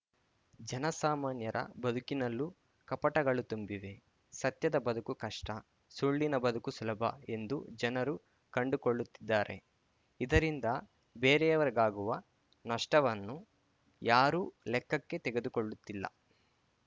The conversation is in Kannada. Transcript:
ಜನಸಾಮಾನ್ಯರ ಬದುಕಿನಲ್ಲೂ ಕಪಟಗಳು ತುಂಬಿವೆ ಸತ್ಯದ ಬದುಕು ಕಷ್ಟ ಸುಳ್ಳಿನ ಬದುಕು ಸುಲಭ ಎಂದು ಜನರು ಕಂಡುಕೊಳ್ಳುತ್ತಿದ್ದಾರೆ ಇದರಿಂದ ಬೇರೆಯವರಿಗಾಗುವ ನಷ್ಟವನ್ನು ಯಾರೂ ಲೆಕ್ಕಕ್ಕೆ ತೆಗೆದುಕೊಳ್ಳುತ್ತಿಲ್ಲ